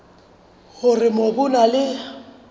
hore mobu o na le